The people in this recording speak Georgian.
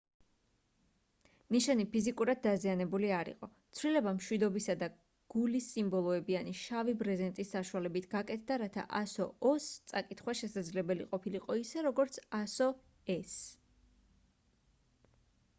ნიშანი ფიზიკურად დაზიანებული არ იყო; ცვლილება მშვიდობისა და გულის სიმბოლოებიანი შავი ბრეზენტის საშუალებით გაკეთდა რათა ასო o -ს წაკითხვა შესაძლებელი ყოფილიყო ისე როგორც ასო e -ს